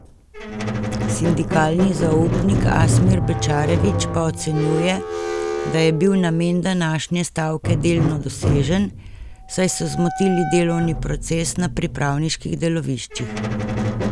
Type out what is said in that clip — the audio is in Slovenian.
Sindikalni zaupnik Asmir Bećarević pa ocenjuje, da je bil namen današnje stavke delno dosežen, saj so zmotili delovni proces na pripravniških deloviščih.